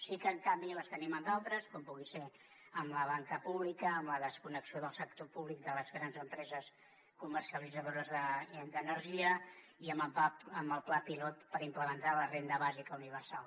sí que en canvi la tenim en d’altres com pugui ser en la banca pública en la desconnexió del sector públic de les grans empreses comercialitzadores d’energia i en el pla pilot per implementar la renda bàsica universal